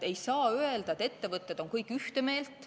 Ei saa öelda, et ettevõtted oleksid kõik ühte meelt.